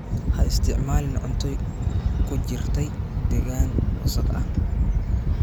Ha isticmaalin cunto ku jirtay deegaan wasakh ah.